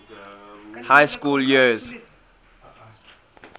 high school years